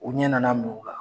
U ɲɛ nana minɛ u la!